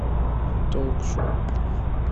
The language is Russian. толк шоу